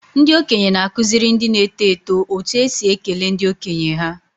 Ndị okenye na-akụziri ndị na-eto eto otú e si ekele ndị okenye ha.